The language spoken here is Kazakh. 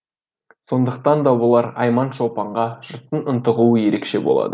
сондықтан да болар айман шолпанға жұрттың ынтығуы ерекше болады